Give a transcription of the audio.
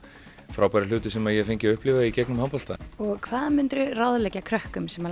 frábæru hluti sem ég hef fengið að upplifa í gegnum handbolta hvað myndir þú ráðleggja krökkum sem